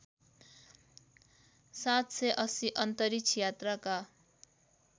७८० अन्तरिक्ष यात्राका